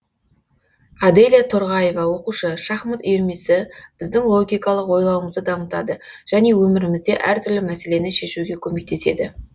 аделя торғаева оқушы шахмат үйірмесі біздің логикалық ойлауымызды дамытады және өмірімізде әртүрлі мәселені шешуге көмектеседі